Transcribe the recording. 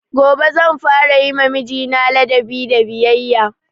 Gobe zan fara yima mijina ladabi da biyayya